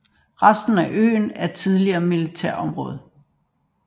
Resten af øen er et tidligere militært område